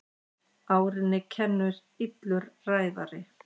Árinni kennir illur ræðari.